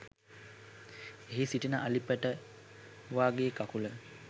එහි සිටින අලි පැටවාගේ කකුල